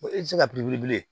E tɛ se ka piri wili bilen